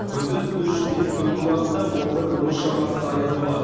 күндіз үш бес түнгі уақытта он бір он үш шамасында аяз болады